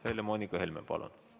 Helle-Moonika Helme, palun!